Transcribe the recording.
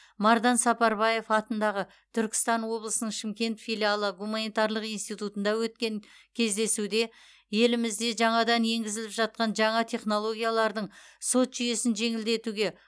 мардан сапарбаев атындағы түркістан облысының шымкент филиалы гуманитарлық институтында өткен кездесуде елімізде жаңадан еңгізіліп жатқан жаңа технологиялардың сот жүйесін жеңілдетуге